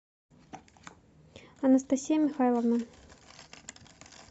анастасия михайловна